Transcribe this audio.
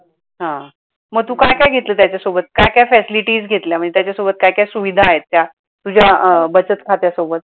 हा. मग तू काय काय घेतल त्याच्यासोबत काय काय facilities घेतल्या म्हणजे त्याच्या सोबत काय काय सुविधा आहेत त्या तुझ्या बचत खात्या सोबत.